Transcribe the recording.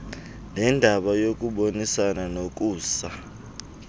nendaba yokubonisana nokusa